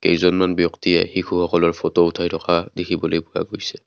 কেইজনমান ব্যক্তটিয়ে শিশুসকলৰ ফটো উঠাই থকা দেখিবলৈ পোৱা গৈছে।